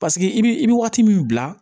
Paseke i bi i bɛ waati min bila